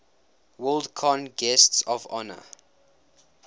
worldcon guests of honor